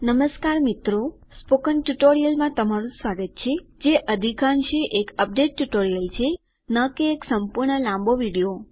નમસ્કાર મિત્રો સ્પોકન ટ્યુટોરીયલમાં તમારું સ્વાગત છે જે અધિકાંશે એક અપડેટ ટ્યુટોરીયલ છે ન કે એક સંપૂર્ણ લાંબો વિડિઓ